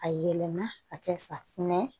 A yɛlɛma ka kɛ safunɛ